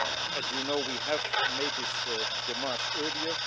As you know, we have made this démarche earlier.